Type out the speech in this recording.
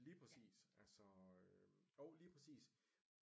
Lige præcis altså øh jo lige præcis